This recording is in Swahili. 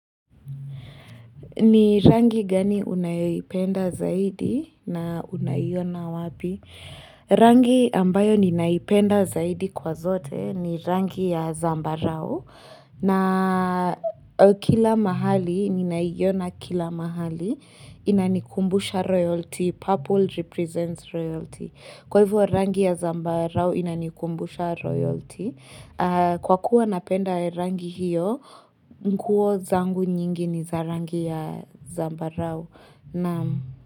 Ni rangi gani unayoipenda zaidi na unayiona wapi? Rangi ambayo ninaipenda zaidi kwa zote ni rangi ya zambarao. Na kila mahali, ninaiona kila mahali, inanikumbusha royalty, purple represents royalty. Kwa hivyo rangi ya zambarao inanikumbusha royalty. Kwa kuwa napenda rangi hiyo, nguo zangu nyingi ni za rangi ya zambarau.